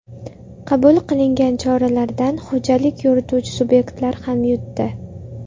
Qabul qilingan choralardan xo‘jalik yurituvchi subyektlar ham yutdi.